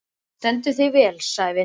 Þú stendur þig vel, Sævin!